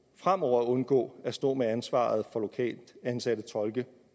fremover at undgå at stå med ansvaret for lokalt ansatte tolke